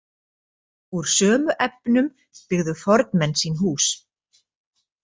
Úr sömu efnum byggðu fornmenn sín hús.